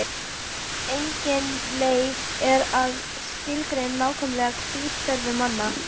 Engin leið er að skilgreina nákvæmlega hvítuþörf manna.